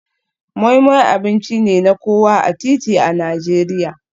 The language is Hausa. Moi Moi abinci ne na kowa a titi a Najeriya.